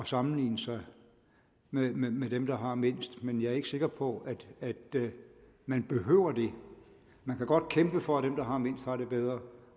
sammenligne sig med med dem der har mindst men jeg er ikke sikker på at man behøver det man kan godt kæmpe for at dem der har mindst får det bedre